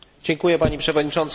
Pani Przewodnicząca!